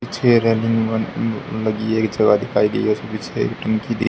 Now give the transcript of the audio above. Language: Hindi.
पीछे रेलिंग बन अ लगी है एक जगह दिखाई दी है --